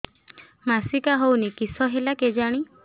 ମାସିକା ହଉନି କିଶ ହେଲା କେଜାଣି